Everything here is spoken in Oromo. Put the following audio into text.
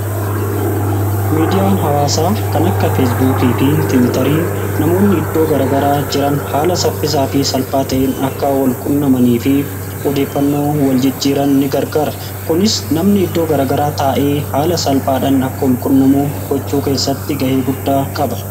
Miidiyaan hawaasaa kan akka feesbuukii fi tiwitarii namoonni iddoo garagaraa jiran haala saffisaa fi salphaa ta'een akka wal qunnamanii fi odeeffannoo wal jijjiiran ni gargara. Kunis namni iddoo garagaraa taa'ee haala salphaadhan akka wal qunnamuu gochuu keessatti ga'ee guddaa qaba.